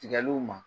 Tigɛliw ma